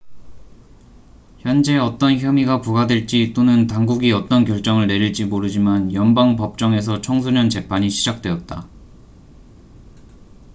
현재 어떤 혐의가 부과될지 또는 당국이 어떤 결정을 내릴지 모르지만 연방 법정에서 청소년 재판이 시작되었다